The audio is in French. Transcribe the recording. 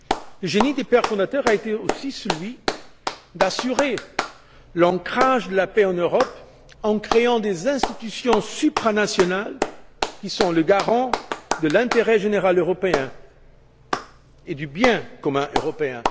Le génie des pères fondateurs a été aussi d'assurer l'ancrage de la paix en Europe en créant des institutions supranationales, qui sont le garant de l'intérêt général européen et du bien commun européen.